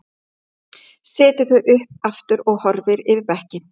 Setur þau upp aftur og horfir yfir bekkinn.